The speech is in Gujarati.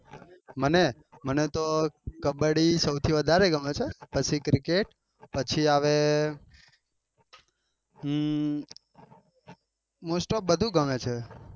મને મને તો કબબડી સૌથી વધારે ગામને છે પછી cricet પછી આવે હમ most of બધું જ ગમે છે.